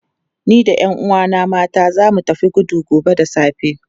Ni da 'yan uwana mata za mu tafi gudu gobe da safe.